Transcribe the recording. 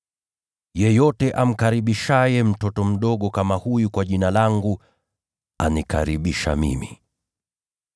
“Yeyote amkaribishaye mtoto mdogo kama huyu kwa Jina langu, anikaribisha mimi.